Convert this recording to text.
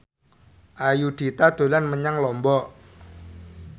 Ayudhita dolan menyang Lombok